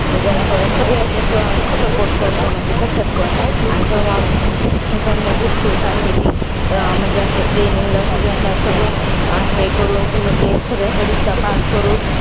म्हणजे, असं सगळ्या ह्याच्यात support करतो. म्हणजे कश्यात पण. आणि तेव्हा, संध्या खूप खुश असती. ती म्हणजे असं training ला सगळ्यांना सगळं, हे करून ती म्हणजे सगळ्या परीक्षा pass करून